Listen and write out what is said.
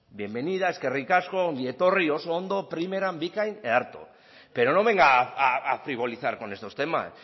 bienvenida eskerrik asko ongi etorri oso ondo primeran bikain ederto pero no venga a frivolizar con estos temas